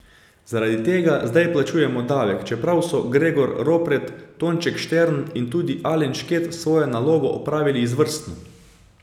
Zaradi tega zdaj plačujemo davek, čeprav so Gregor Ropret, Tonček Štern in tudi Alen Šket svojo nalogo opravili izvrstno.